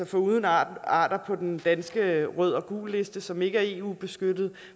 foruden arter arter på den danske rød og gulliste som ikke er eu beskyttet